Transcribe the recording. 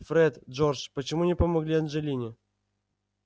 фред джордж почему не помогли анджелине